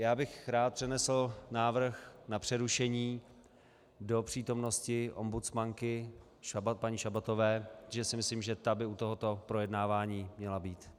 Já bych rád přednesl návrh na přerušení do přítomnosti ombudsmanky paní Šabatové, protože si myslím, že ta by u tohoto projednávání měla být.